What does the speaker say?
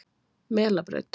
Melabraut